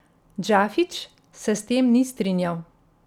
Džafić se s tem ni strinjal.